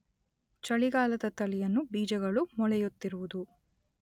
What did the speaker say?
ಚಳಿಗಾಲದ ತಳಿಯನ್ನು ಬೀಜಗಳು ಮೊಳೆಯುತ್ತಿರುವುದು